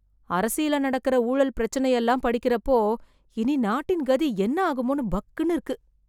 அரசியல்ல நடக்கற ஊழல் பிரச்சனையெல்லாம் படிக்கறப்போ, இனி நாட்டின் கதி என்ன ஆகுமோன்னு பக்குன்னு இருக்கு...